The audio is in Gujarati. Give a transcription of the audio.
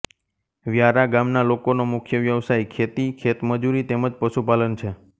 વ્યારા ગામના લોકોનો મુખ્ય વ્યવસાય ખેતી ખેતમજૂરી તેમ જ પશુપાલન છે